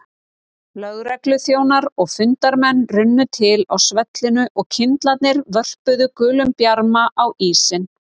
Lögregluþjónar og fundarmenn runnu til á svellinu og kyndlarnir vörpuðu gulum bjarma á ísinn.